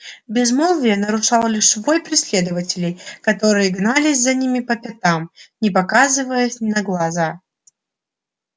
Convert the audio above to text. безмолвие нарушал лишь вой преследователей которые гнались за ними по пятам не показываясь на глаза